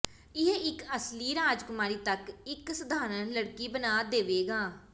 ਇਹ ਇੱਕ ਅਸਲੀ ਰਾਜਕੁਮਾਰੀ ਤੱਕ ਇੱਕ ਸਧਾਰਨ ਲੜਕੀ ਬਣਾ ਦੇਵੇਗਾ